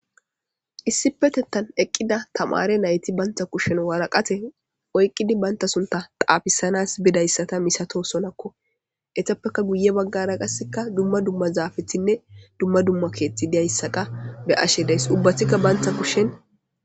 issi petettan eqqida tamare nayti bantha kushen waraqate oyqqidi baynta sunta xaafisanas bidayssata misato sonakko etappeka guye baggara qasseka dumma dumma zaafethinne dumma dumma keethti diyayssaqa be ashe days ubbathikka bantha kushen